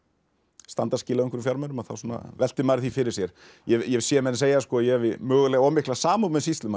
standa skil á einhverjum fjármunum þá svona veltir maður því fyrir sér ég hef séð menn segja að ég hafi mögulega of mikla samúð með sýslumanni